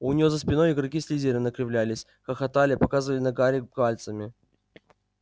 у нее за спиной игроки слизерина кривлялись хохотали показывали на гарри пальцами